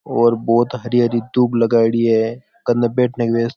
और बहुत हरि हरि दुब लगायेड़ी है कने बैठने की --